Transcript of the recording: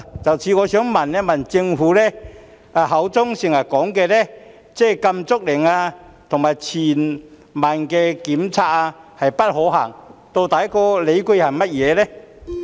就此，我想問，政府口中經常說禁足令和全民檢測不可行的理據究竟是甚麼？